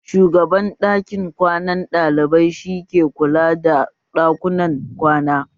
Shugaban ɗakin kwanan ɗalibai shi ke kula da ɗakunan kwana